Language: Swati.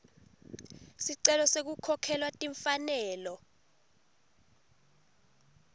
sicelo sekukhokhelwa timfanelo